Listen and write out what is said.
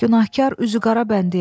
Günahkar üzü qara bəndiyəm.